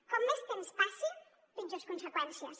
com més temps passi pitjors conseqüències